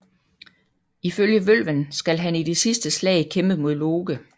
Ifølge Vølven skal han i det sidste slag kæmpe mod Loke